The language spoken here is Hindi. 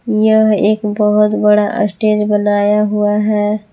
यह एक बहुत बड़ा स्टेज बनाया हुआ है।